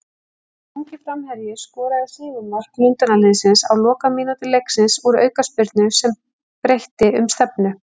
Þessi ungi framherji skoraði sigurmark Lundúnaliðsins á lokamínútu leiksins úr aukaspyrnu sem breytti um stefnu.